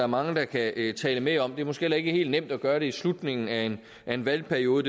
mange der kan tale med om det er måske heller ikke helt nemt at gøre det i slutningen af en valgperiode